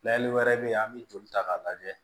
Layɛli wɛrɛ bɛ yen an bɛ joli ta k'a lajɛ